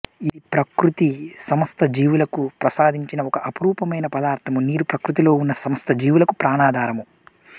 ఇది ప్రకృతి సమస్త జీవులకు ప్రసాదించిన ఒక అపరూపమైన పదార్థము నీరు ప్రకృతిలో ఉన్న సమస్త జీవులకు ప్రాణాధారము